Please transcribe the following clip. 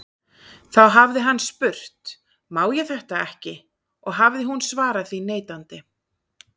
Þá hafi hann spurt: Má ég þetta ekki? og hafi hún svarað því neitandi.